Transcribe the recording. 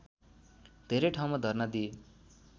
धेरै ठाउँमा धर्ना दिए